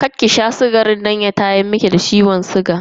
Karki sha sukarin nan kar ya tayar miki da ciwon sigan ki.